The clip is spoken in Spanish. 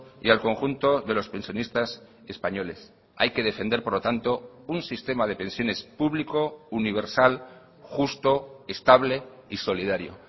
y al conjunto de los pensionistas españoles hay que defender por lo tanto un sistema de pensiones público universal justo estable y solidario